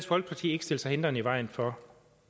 folkeparti ikke stille sig hindrende i vejen for